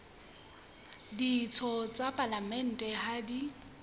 ditho tsa palamente ha di